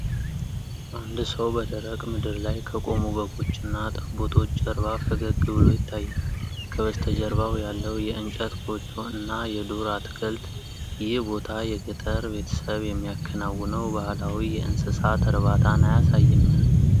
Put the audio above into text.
አንድ ሰው በደረቅ ምድር ላይ ከቆሙ በጎችና ጠቦቶች ጀርባ ፈገግ ብሎ ይታያል፤ ከበስተጀርባው ያለው የእንጨት ጎጆ እና የዱር አትክልት፣ ይህ ቦታ የገጠር ቤተሰብ የሚያከናውነው ባህላዊ የእንስሳት እርባታን አያሳይምን?